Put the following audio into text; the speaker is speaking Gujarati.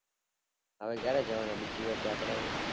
હવે ક્યારે જવાન બીજી વાર જત્ર્રા એ